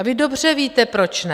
A vy dobře víte, proč ne.